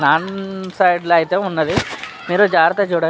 Side ల అయితే ఉన్నవి మీరు జాగ్రత్తగా చూడండి .